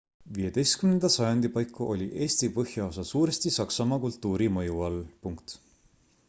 15 sajandi paiku oli eesti põhjaosa suuresti saksamaa kultuuri mõju all